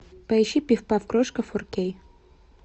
поищи пиф паф крошка фор кей